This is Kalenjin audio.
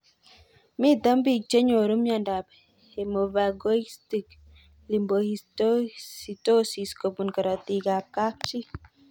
Mito pik che nyoru miondop hemophagocytic lymphohistiocytosis kopun karatik ab kapchii